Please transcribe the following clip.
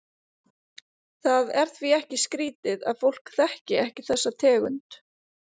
Það er því ekki skrítið að fólk þekki ekki þessa tegund.